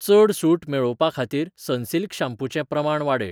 चड सूट मेळोवपाखातीर Sunsilk shampoo चें प्रमाण वाडय.